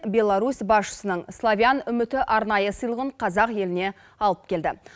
беларусь басшысының славян үміті арнайы сыйлығын қазақ еліне алып келді